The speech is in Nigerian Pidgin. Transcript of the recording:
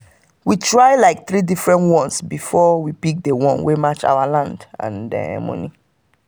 we try like three different ones before we pick the one wey match our land and money.